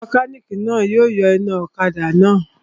Mẹkánìkì náà yọ iná ọ̀kadà náà